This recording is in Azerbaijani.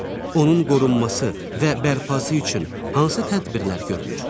Onun qorunması və bərpası üçün hansı tədbirlər görülür?